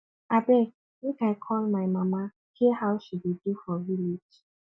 abeg make i call my mama hear how she dey do for village